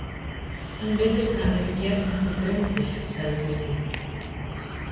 Hann virðist hafa verið geðþekkur drengur, sagði Kristín.